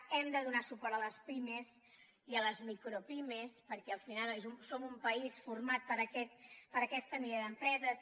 hem de donar suport a les pimes i a les micropimes perquè al final som un país format per aquesta mida d’empreses